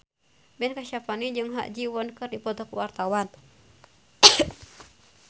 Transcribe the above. Ben Kasyafani jeung Ha Ji Won keur dipoto ku wartawan